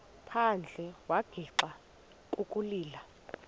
phandle wagixa ukulila